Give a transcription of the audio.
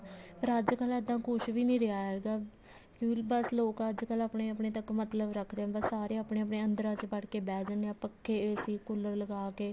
ਪਰ ਅੱਜਕਲ ਇੱਦਾਂ ਕੁੱਛ ਵੀ ਨਹੀਂ ਰਿਹਾ ਹੈਗਾ ਬੱਸ ਲੋਕ ਅੱਜਕਲ ਆਪਣੇ ਤੱਕ ਮਤਲਬ ਰੱਖਦੇ ਹਾਂ ਬਸ ਸਾਰੇ ਆਪਣੇ ਆਪਣੇ ਅੰਦਰਾਂ ਚ ਵੜ ਕੇ ਬੈਠ ਜਾਂਦੇ ਹਾਂ ਪੱਖੇ AC ਕੂਲਰ ਲਗਾ ਕੇ